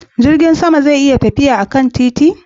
Jirgin sama zai iya tafiya akan titi?